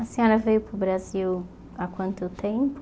A senhora veio para o Brasil há quanto tempo?